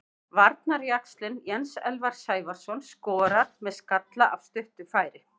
Varnarjaxlinn Jens Elvar Sævarsson skorar með skalla af stuttu færi.